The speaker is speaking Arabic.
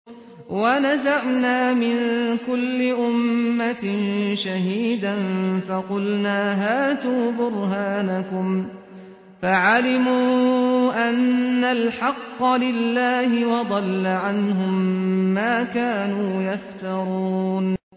وَنَزَعْنَا مِن كُلِّ أُمَّةٍ شَهِيدًا فَقُلْنَا هَاتُوا بُرْهَانَكُمْ فَعَلِمُوا أَنَّ الْحَقَّ لِلَّهِ وَضَلَّ عَنْهُم مَّا كَانُوا يَفْتَرُونَ